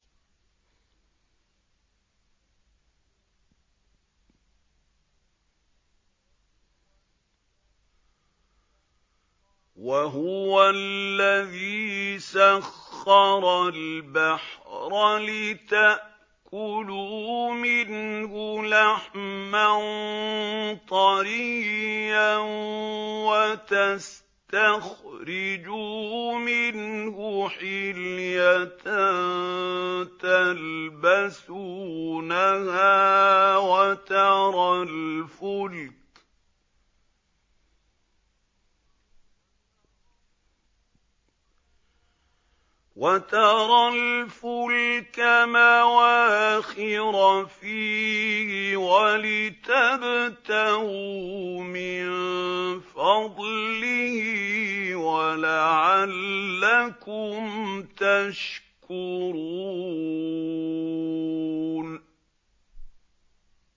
وَهُوَ الَّذِي سَخَّرَ الْبَحْرَ لِتَأْكُلُوا مِنْهُ لَحْمًا طَرِيًّا وَتَسْتَخْرِجُوا مِنْهُ حِلْيَةً تَلْبَسُونَهَا وَتَرَى الْفُلْكَ مَوَاخِرَ فِيهِ وَلِتَبْتَغُوا مِن فَضْلِهِ وَلَعَلَّكُمْ تَشْكُرُونَ